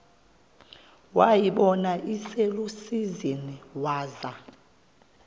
wayibona iselusizini waza